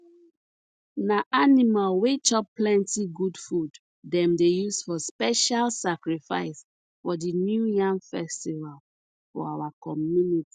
na animal wey chop plenty good food dem dey use for special sacrifice for the new yam festival for our community